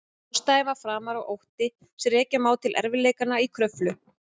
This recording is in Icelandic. Ástæðan var framan af ótti sem rekja má til erfiðleikanna í Kröflu.